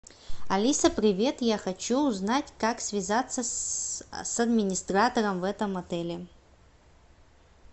алиса привет я хочу узнать как связаться с администратором в этом отеле